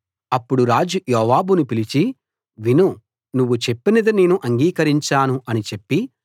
అప్పుడు రాజు యోవాబును పిలిచి విను నువ్వు చెప్పినది నేను అంగీకరించాను అని చెప్పి